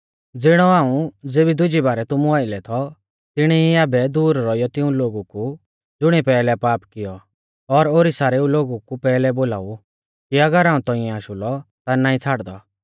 ज़िणौ हाऊं ज़ेबी दुजी बारै तुमु आइलै थौ तिणी ई आबै दूर रौइयौ तिऊं लोगु कु ज़ुणिऐ पैहलै पाप कियौ और ओरी सारेऊ लोगु कु पैहलै बोलाऊ कि अगर हाऊं तौंइऐ आशु लौ ता नाईं छ़ाड़दौ